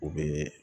U bɛ